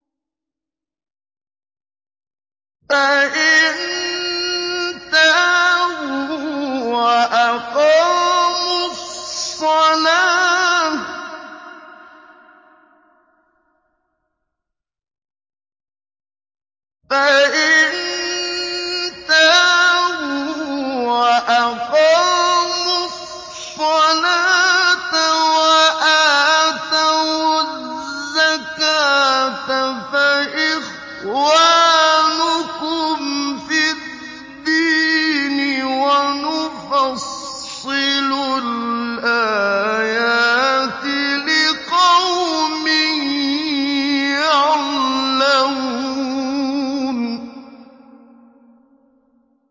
فَإِن تَابُوا وَأَقَامُوا الصَّلَاةَ وَآتَوُا الزَّكَاةَ فَإِخْوَانُكُمْ فِي الدِّينِ ۗ وَنُفَصِّلُ الْآيَاتِ لِقَوْمٍ يَعْلَمُونَ